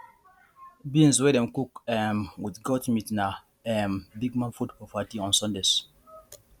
beans wey dem cook um with goat meat na um big man food for party on sundays